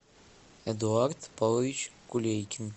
эдуард павлович кулейкин